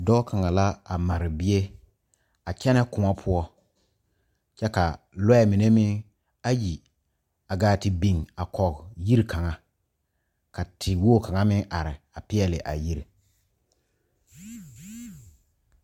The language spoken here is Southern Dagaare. Dɔɔ kaŋa la a mare bie a kyɛnɛ kõɔ poɔ kyɛ ka loɛ mine meŋ ayi a gaa te biŋ kɔge yiri kaŋa ka te wogi kaŋa meŋ are a peɛle a yiri.